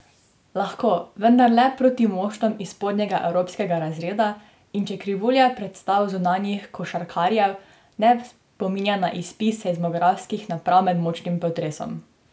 Lahko, vendar le proti moštvom iz spodnjega evropskega razreda in če krivulja predstav zunanjih košarkarjev ne spominja na izpis seizmografskih naprav med močnim potresom.